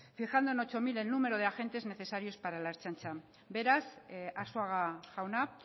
fijando en ocho mil el número de agentes necesarios para la ertzaintza beraz arzuaga jauna